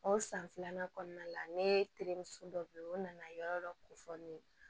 O san filanan kɔnɔna la ne terimuso dɔ bɛ yen o nana yɔrɔ dɔ ko fɔ ne ye